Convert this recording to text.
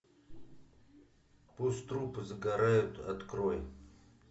пусть трупы загорают открой